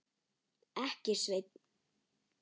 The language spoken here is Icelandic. Ekki, Sveinn.